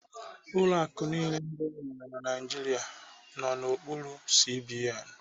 Ụlọ akụ niile ndị enwere na Naijiria na-arụ n'okpuru CBN.